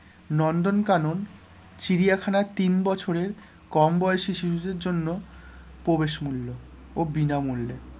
নন্দন কানন চিড়িয়াখানার তিন বছরের কম বয়সী শিশুদের জন্য প্রবেশ মূল্য ও বিনামূল্যে,